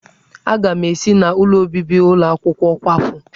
Aga m esi n'ụlọ obibi ụlọ akwụkwọ kwapụ.